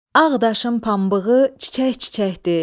Ağdaşın pambığı çiçək-çiçəkdir.